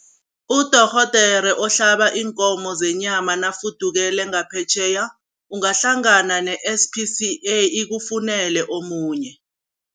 Udorhodere ohlaba iinkomo zenyama nafudukele ngaphetjheya, ungahlangana ne-S_P_C_A ikufunele omunye.